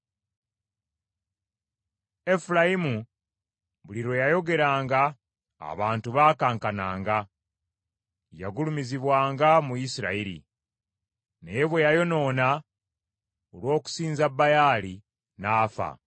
Efulayimu buli lwe yayogeranga, abantu baakankananga. Yagulumizibwanga mu Isirayiri. Naye bwe yayonoona olw’okusinza Baali, n’afa.